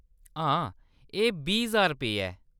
हां, एह्‌‌ बीह् ज्हार रपेऽ ऐ।